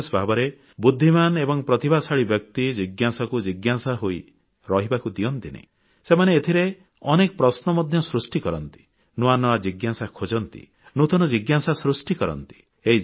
ବିଶେଷ ଭାବରେ ବୁଦ୍ଧିମାନ ଏବଂ ପ୍ରତିଭାଶାଳୀ ବ୍ୟକ୍ତି ଜିଜ୍ଞାସାକୁ ଜିଜ୍ଞାସା ହୋଇ ରହିବାକୁ ଦିଅନ୍ତିନି ସେମାନେ ଏଥିରେ ମଧ୍ୟ ଅନେକ ପ୍ରଶ୍ନ ସୃଷ୍ଟି କରନ୍ତି ନୂଆ ନୂଆ ଜିଜ୍ଞାସା ଖୋଜନ୍ତି ନୂତନ ଜିଜ୍ଞାସା ସୃଷ୍ଟି କରନ୍ତି